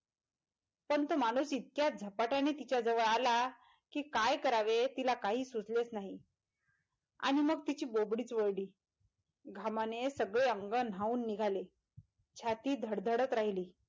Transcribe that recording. तर तो माणूस इतक्या झपाट्याने तिच्या जवळ आला कि काय करावे तिला काही सुचलेच नाही आणि मग तिची बोबडीचं वळली घामाने सगळे अंग न्हाऊन निघाले छाती धडधडत राहिली.